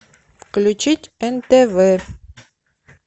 включить нтв